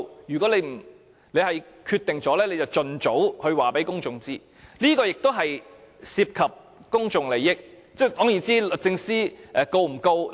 如果政府已有決定，便請盡早告訴公眾，因為這亦涉及公眾利益，究竟會否控告律政司司長呢？